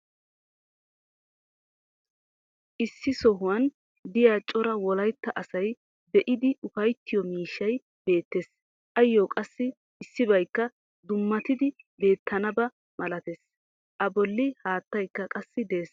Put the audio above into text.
issi sohuwan diya cora wolaytta asay be'idi ufayttiyo miishshay beetees. ayoo qassi issibaykka dummatidi beetennaba malatees. a boli haattaykka qassi des.